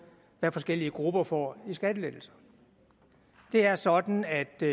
hvad forskellige grupper får i skattelettelser det er sådan at det